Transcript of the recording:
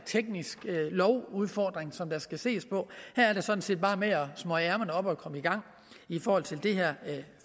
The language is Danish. tekniske lovudfordringer som der skal ses på her er det sådan set bare med at smøge ærmerne op og komme i gang i forhold til det her